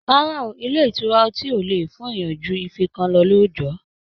Rárá o, ilé ìtura ọtí ò lè fún èèyàn ju ife kan lọ lóójọ̀ọ́